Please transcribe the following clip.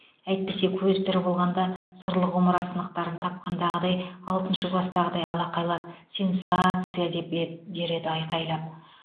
әйтпесе көзі тірі болғанда сырлы құмыра сынықтарын тапқандағыдай алтыншы кластағыдай алақайлап сенсация а а а деп е дер еді айқайлап